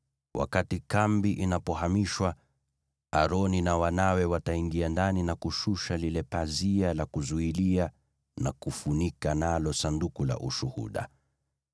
Wakati kambi inapohamishwa, Aroni na wanawe wataingia ndani na kushusha lile pazia la kuzuilia na kufunika nalo Sanduku la Ushuhuda.